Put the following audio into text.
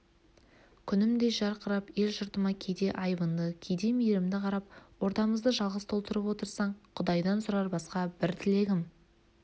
күнімдей жарқырап ел-жұртыма кейде айбынды кейде мейірімді қарап ордамызды жалғыз толтырып отырсаң құдайдан сұрар басқа бір тілегім